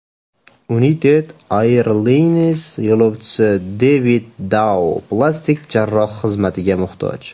United Airlines yo‘lovchisi Devid Dao plastik jarroh xizmatiga muhtoj.